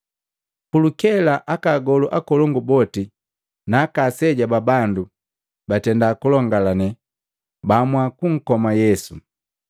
Pulukela aka agolu akolongu boti na aka aseja ba bandu batenda kulongalane baamua kunkoma Yesu.